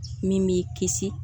Min b'i kisi